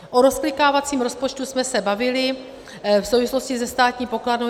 O rozklikávacím rozpočtu jsme se bavili v souvislosti se Státní pokladnou.